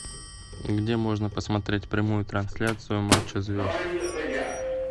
где можно посмотреть прямую трансляцию матча звезд